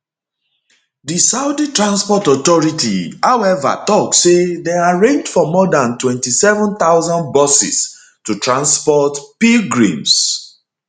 di saudi transport authority however tok say dem arrange for more dan 27000 buses to transport pilgrims